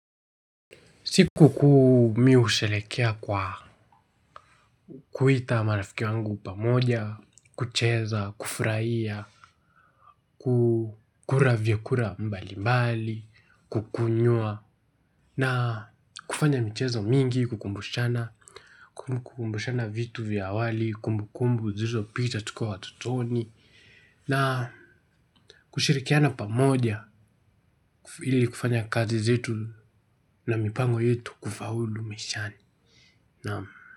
Siku kuu mimi husherehekea kwa kuita marafiki wangu pamoja, kucheza, kufurahia, kukula vyakula mbali mbali, kukunywa, na kufanya michezo mingi, kukumbushana, kukumbushana vitu vya awali, kumbu kumbu, zilizopita tukiwa watoto na kushirikiana pamoja ili kufanya kazi zetu na mipango yetu kufaulu maishani, naamu.